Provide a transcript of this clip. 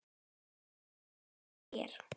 Af sofa hjá þér?